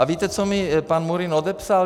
A víte, co mi pan Murín odepsal?